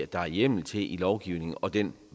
der er hjemmel til i lovgivningen og den